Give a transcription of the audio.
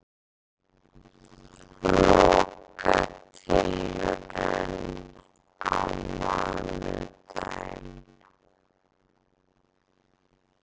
Lokatilraun á mánudaginn